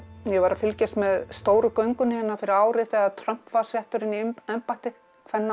ég var að fylgjast með stóru göngunni fyrir ári þegar Trump var settur inn í embætti